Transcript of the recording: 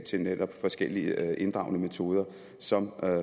til netop forskellige inddragende metoder som